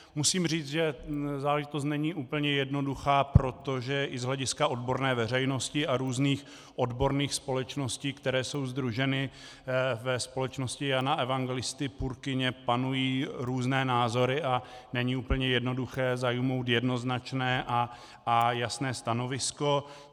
Musím říct, že záležitost není úplně jednoduchá, protože i z hlediska odborné veřejnosti a různých odborných společností, které jsou sdruženy ve Společnosti Jana Evangelisty Purkyně, panují různé názory a není úplně jednoduché zaujmout jednoznačné a jasné stanovisko.